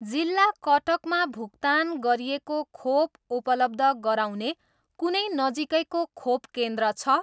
जिल्ला कटक मा भुक्तान गरिएको खोप उपलब्ध गराउने कुनै नजिकैको खोप केन्द्र छ?